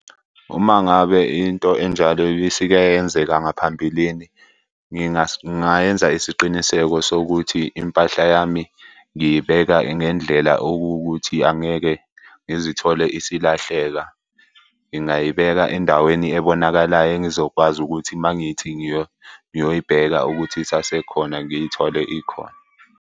Uma ngabe into enjalo isike yenzeka ngaphambilini, ngingayenza isiqiniseko sokuthi impahla yami ngiyibeka ngendlela okuwukuthi angeke ngizithole isilahleka. Ngingayibeka endaweni ebonakalayo engizokwazi ukuthi uma ngithi ngiyoyibheka ukuthi isasekhona ngiyithole ikhona.